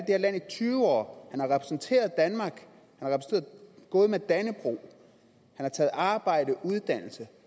her land i tyve år han har repræsenteret danmark han har gået med dannebrog han har taget arbejde og uddannelse